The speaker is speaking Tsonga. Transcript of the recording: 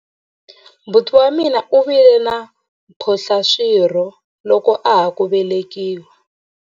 Buti wa mina u vile na mphohlaswirho loko a ha ku velekiwa.